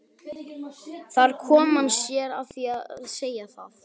Þar kom hann sér að því að segja það.